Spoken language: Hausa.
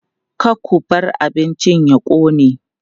Ka ku bar abincin ya ƙone!